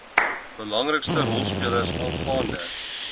belangrikste rolspelers aangaande